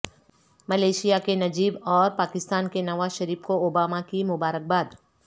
Malaysia کے Najib اور پاکستان کے نواز شریف کو اوباما کی مبارکباد